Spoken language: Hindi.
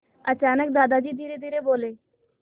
अचानक दादाजी धीरेधीरे बोले